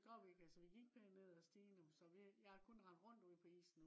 men det gjorde vi ikke. altså vi gik pænt ned at stigen. så jeg har kun rendt rundt ude på isen